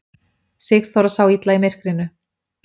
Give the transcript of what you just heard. Sigþóra sá illa í myrkrinu.